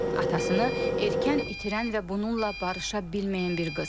Atasını erkən itirən və bununla barışa bilməyən bir qız.